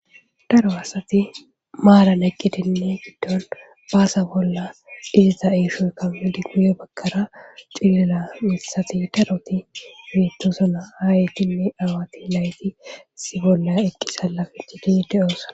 Daro aasati maalan eqqitinne giddon baasa bolla dizita eeshoykammadi guye bakkara xilila mithati daroti miitosona haayitinne awati layti si bolla eqqi salafichidi de'oosa.